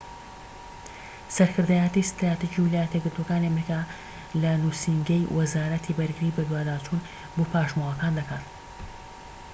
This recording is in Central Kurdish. سەرکردایەتی ستراتیجی ویلایەتە یەکگرتووەکانی ئەمریکا لە نووسینگەی وەزارەتی بەرگری بەدواداچوون بۆ پاشماوەکان دەکات